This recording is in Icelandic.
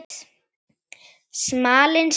Smalinn sagði